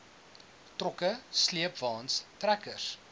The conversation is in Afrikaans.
trokke sleepwaens trekkers